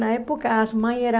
Na época, as mães eram...